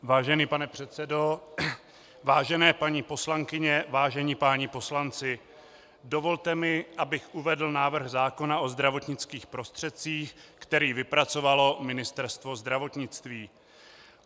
Vážený pane předsedo, vážené paní poslankyně, vážení páni poslanci, dovolte mi, abych uvedl návrh zákona o zdravotnických prostředcích, který vypracovalo Ministerstvo zdravotnictví.